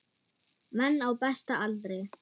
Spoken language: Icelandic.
Menn á besta aldri.